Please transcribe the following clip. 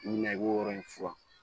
I bi na i b'o yɔrɔ in furan